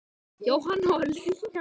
Jóhanna og Lilja Rún.